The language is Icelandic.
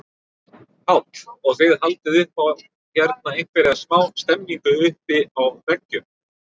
Páll: Og þið haldið upp á hérna einhverja smá stemningu uppi á veggjum?